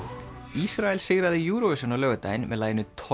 Ísrael sigraði Eurovision á laugardaginn með laginu